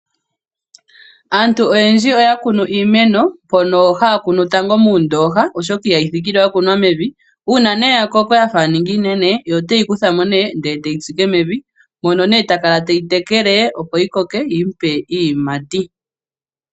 Aantu oyendji ohaya kunu iimeno, mono haya kunu tango muundoha, oshoka ohayi thikile yakunwa mevi. Uuna yakoko yafa yaningi iinene, omuntu oheyi kutha mo e teyi tsike mevi, mono takala teyi tekele opo yikoke yigandje iiyimati.